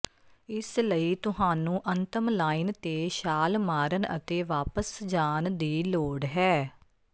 ਇਸ ਲਈ ਤੁਹਾਨੂੰ ਅੰਤਮ ਲਾਈਨ ਤੇ ਛਾਲ ਮਾਰਨ ਅਤੇ ਵਾਪਸ ਜਾਣ ਦੀ ਲੋੜ ਹੈ